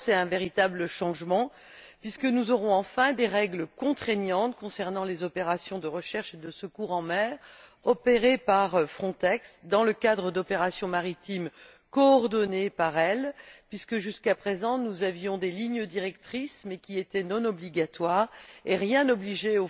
Tout d'abord, c'est un véritable changement puisque nous aurons enfin des règles contraignantes concernant les opérations de recherche et de secours en mer opérées par Frontex dans le cadre d'opérations maritimes coordonnées par elle, puisque jusqu'à présent nous avions des lignes directrices qui étaient non obligatoires et rien n'obligeait